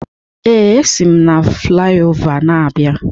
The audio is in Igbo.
Ee, esi m na flaiova na-abịa.